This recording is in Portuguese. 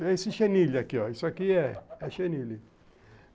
Esse chenile aqui, ó. Isso aqui é chenile.